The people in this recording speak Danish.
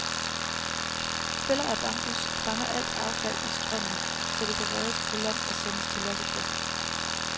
Fælder af bambus fanger alt affald i strømmen, så det kan reddes på land og sendes til lossepladsen.